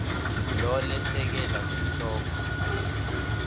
lo lesekela sihloko